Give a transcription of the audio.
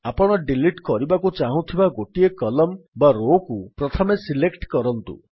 ଆପଣ ଡିଲିଟ୍ କରିବାକୁ ଚାହୁଁଥିବା ଗୋଟିଏ କଲମ୍ନ ବା Rowକୁ ପ୍ରଥମେ ସିଲେକ୍ଟ୍ କରନ୍ତୁ